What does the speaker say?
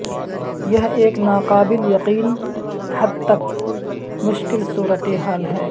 یہ ایک ناقابل یقین حد تک مشکل صورتحال ہے